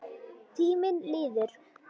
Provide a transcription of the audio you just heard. Tíminn líður.